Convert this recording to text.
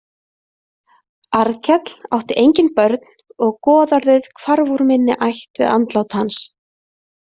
Arnkell átti engin börn og goðorðið hvarf úr minni ætt við andlát hans.